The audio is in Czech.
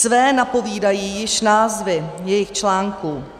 Své napovídají již názvy jejich článků.